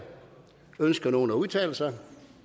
ønsker nogen at udtale sig